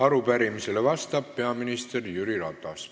Arupärimisele vastab peaminister Jüri Ratas.